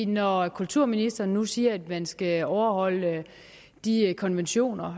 når kulturministeren nu siger at man skal overholde de konventioner